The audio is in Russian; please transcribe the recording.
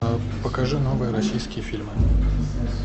покажи новые российские фильмы